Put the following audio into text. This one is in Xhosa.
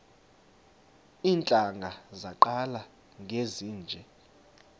iintlanga zaqala ngezinje